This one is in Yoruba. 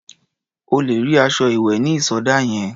O lè sí aṣọ ìwẹ̀ ní ìsọdá yẹn.